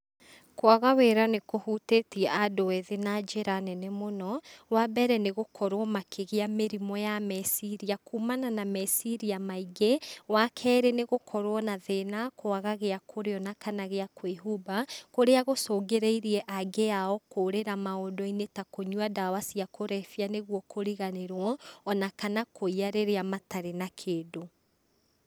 Kwaga wĩra nĩkũhutĩtie andũ ethĩ na njĩra nene mũno, wa mbere nĩgũkorwo makĩgĩa mĩrimũ ya meciria, kumana na meciria maingĩ, wa kerĩ nĩ gũkorwo na thĩna kwaga gĩakũrĩa ona kana gĩa kwĩhumba, kũrĩa gũcũngĩrĩire aingĩ ao kũrĩra maũndũ-inĩ ta kũnyua ndawa cia kũrebia, nĩguo kũriganĩrwo, ona kana kũiya rĩrĩa matarĩ na kĩndũ.